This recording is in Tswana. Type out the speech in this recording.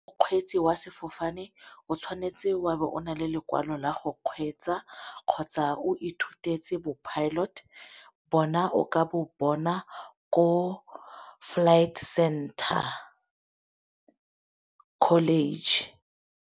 Mokgweetsi wa sefofane o tshwanetse o a be o nale lekwalo la go kgweetsa, kgotsa o ithutetse bo pilot bona o ka bo bona ko Flight Center College.